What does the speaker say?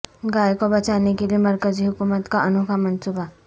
گائے کو بچانے کیلئے مرکزی حکومت کا انوکھا منصوبہ